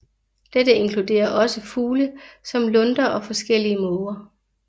Dette inkluderer også fugle som lunder og forskellige måger